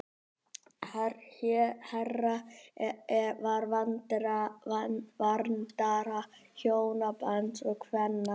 Hera var verndari hjónabands og kvenna.